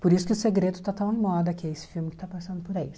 Por isso que o segredo está tão em moda, que é esse filme que está passando por aí.